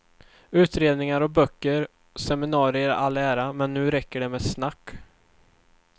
Utredningar och böcker och seminarier i all ära, men nu räcker det med snack.